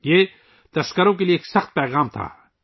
یہ شکاریوں کے لئے ایک سخت پیغام تھا